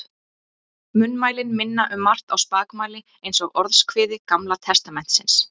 Munnmælin minna um margt á spakmæli eins og Orðskviði Gamla testamentisins.